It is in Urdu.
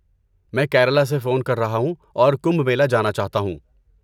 میں کیرالہ سے فون کر رہا ہوں اور کمبھ میلہ جانا چاہتا ہوں۔